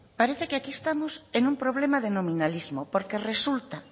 parece aquí estamos en un problema denominalismo porque resulta